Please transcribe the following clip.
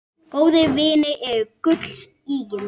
Góðir vinir eru gulls ígildi.